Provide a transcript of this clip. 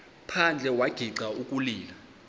phandle wagixa ukulila